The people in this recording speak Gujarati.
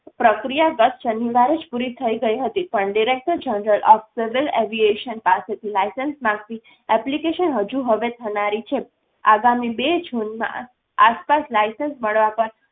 પ્રક્રિયા ગત શનિવારે જ પૂરી થઈ ગઈ હતી. પણ director general of civil avation પાસેથ license માંગતી application હજુ હવે થનારી છે. આગામી બે જૂનમાં આ આસપાસ license મળવા પર